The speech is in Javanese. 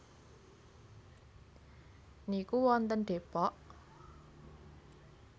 niku wonten Depok?